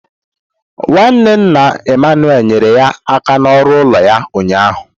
Nwanne nna Emmanuel nyere ya aka n'ọrụ ụlọ ya ụnyaahụ.